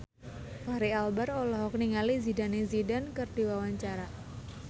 Fachri Albar olohok ningali Zidane Zidane keur diwawancara